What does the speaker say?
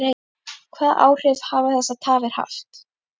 Hvaða áhrif hafa þessar tafir haft?